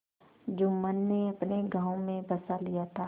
जुम्मन ने अपने गाँव में बसा लिया था